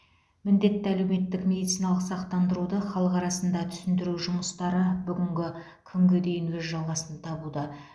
міндетті әлеуметтік медициналық сақтандыруды халық арасында түсіндіру жұмыстары бүгінгі күнге дейін өз жалғасын табуда